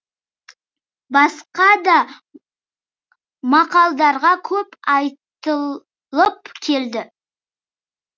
басқа да мақалдарға көп айтылып келді